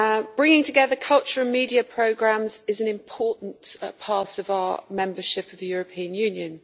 Bringing together culture and media programmes is an important part of our membership of the European Union.